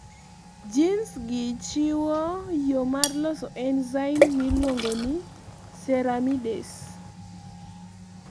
genes gi chiwo yoo mar loso enzyme mailuongo ni ceramidase